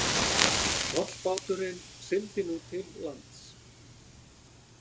Tollbáturinn sigldi nú til lands.